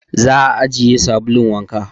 Za a ajiye sabulun wanka